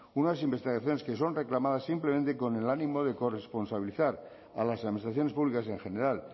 unas investigaciones que son reclamadas simplemente con el ánimo de corresponsabilizar a las administraciones públicas en general